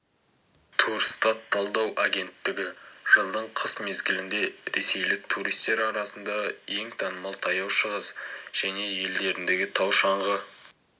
турстат талдау агенттігі жылдың қыс мезгілінде ресейлік туристер арасында ең танымал таяу шығыс және елдеріндегі тау-шаңғы